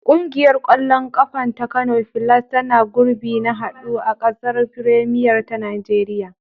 Ƙungiyar ƙwallon ƙafa ta Kano Filas tana gurbi na haɗu a gasar firemiyar ta Najeriya.